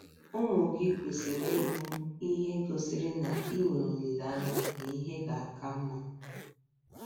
Ụmụ gị kwesịrị ịhụ ihe gosiri na i nwere olileanya n’ihe ga - aka mma.